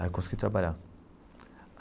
Aí, eu consegui trabalhar.